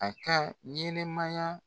A ka ɲɛnɛmaya